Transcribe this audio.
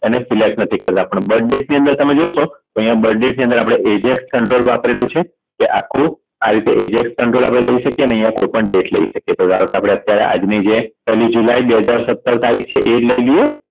એને select નથી કરતા પણ Birth date ની અંદર તમે જોશો તો અહીંયા Birth date ની અંદર Eject control વાપરેલું છે કે આખું આ રીતે Eject control આપણે લઈ શકીયે ને અહીંયા કોઈ પણ data લઈ શકીયે તો ધારો કે આપણે અત્યારે આજ ની જે પેહલી જુલાઈ બે હજાર સત્તર તારીખ છે એ જ લઈ લઈએ